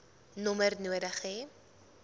nommer nodig hê